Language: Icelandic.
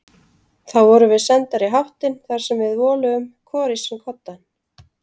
Þá vorum við sendar í háttinn þar sem við voluðum hvor í sinn koddann.